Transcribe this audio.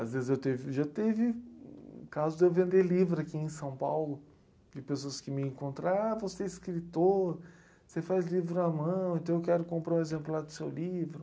Às vezes já teve casos de eu vender livro aqui em São Paulo, de pessoas que me encontram, ah, você é escritor, você faz livro à mão, então eu quero comprar um exemplar do seu livro.